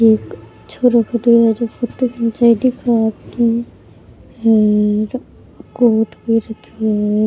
एक छोरा खड़ो है जो फोटो खिंचाई दिखे ये कोट है।